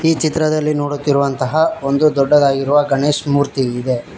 ಈ ಚಿತ್ರದಲ್ಲಿ ನೋಡುತ್ತಿರುವಂತಹ ಒಂದು ದೊಡ್ಡದಾಗಿರುವ ಗಣೇಶ್ ಮೂರ್ತಿ ಇದೆ.